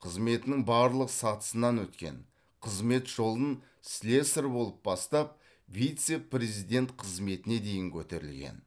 қызметінің барлық сатысынан өткен қызмет жолын слесарь болып бастап вице президент қызметіне дейін көтерілген